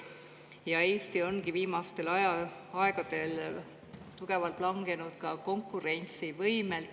Ja Eesti ongi viimastel aegadel tugevalt langenud ka konkurentsivõimelt.